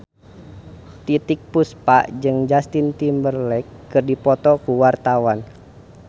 Titiek Puspa jeung Justin Timberlake keur dipoto ku wartawan